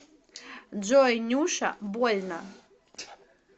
джой нюша больно